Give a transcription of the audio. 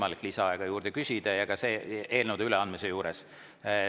Arupärimiste ja ka eelnõude üleandmise korral ei ole võimalik lisaaega küsida.